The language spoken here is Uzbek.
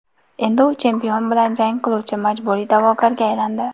Endi u chempion bilan jang qiluvchi majburiy da’vogarga aylandi.